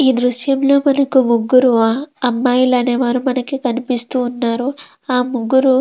ఈ దృశ్యం లో మనకు ముగ్గురు ఆ అమ్మాయిలు అనే వాళ్ళు కనిపిస్తున్నారు ఆ ముగ్గురు --